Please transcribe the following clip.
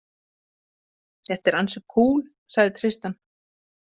Þetta er ansi kúl, sagði Tristan.